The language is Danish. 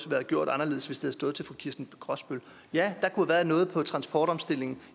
været gjort anderledes hvis det havde stået til fru kirsten brosbøl ja der kunne have været noget på transportomstillingen